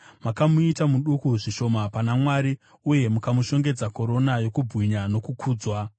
Makamuita muduku zvishoma pana Mwari, uye mukamushongedza korona yokubwinya nokukudzwa.